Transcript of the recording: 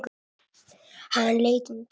Hann leit undan.